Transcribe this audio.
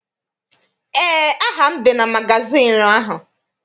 Eé, aha m dị na magazịịnụ ahụ.